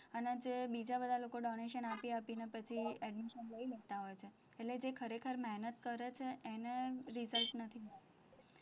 અને જે બીજા બધા લોકો donation આપી આપીને પછી admission લઇ લેતા હોય છે, એટલે જે ખરેખર મહેનત કરે છે એને result નથી મળતું,